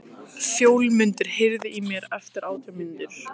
Fjólmundur, heyrðu í mér eftir átján mínútur.